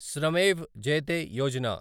Shramev Jayate Yojana